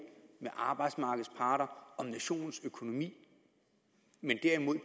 med arbejdsmarkedets parter om nationens økonomi at